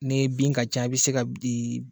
Ni bin ka ca i bɛ se ka bɛ